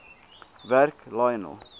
werk lionel